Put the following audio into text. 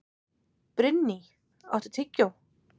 Brynný, áttu tyggjó?